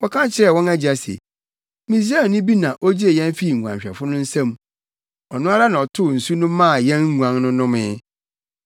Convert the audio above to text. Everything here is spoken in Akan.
Wɔka kyerɛɛ wɔn agya se, “Misraimni bi na ogyee yɛn fii nguanhwɛfo no nsam. Ɔno ara na ɔtow nsu no maa yɛn nguan no nomee.”